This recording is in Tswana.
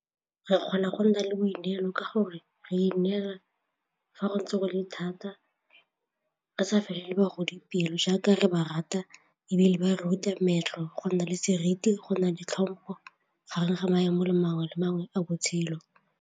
Re kgona go nna le boineelo ka gore re ineela fa go ntse go le thata re sa felele bagodi pelo jaaka re ba rata ebile ba ruta meetlo go nna le seriti, go nna ditlhopho mo le mangwe le mangwe a botshelo.